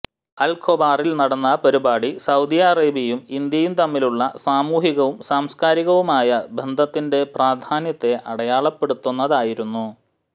അൽ ഖോബാറിൽ നടന്ന പരിപാടി സൌദി അറേബ്യയും ഇന്ത്യയും തമ്മിലുള്ള സാമൂഹികവും സാംസ്കാരികവുമായ ബന്ധത്തി ന്റെ പ്രാധാന്യത്തെ അടയാളപ്പെടുത്തുന്നതായിരുന്നു